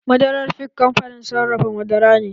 Madarar fik kamfanin sarrafa madara ne